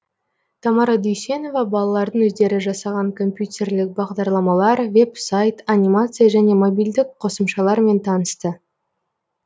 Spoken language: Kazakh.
тамара дүйсенова балалардың өздері жасаған компьютерлік бағдарламалар веб сайт анимация және мобильдік қосымшалармен танысты